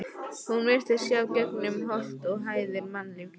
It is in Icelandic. Hún virtist sjá gegnum holt og hæðir mannlífsins.